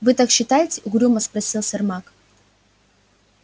вы так считаете угрюмо спросил сермак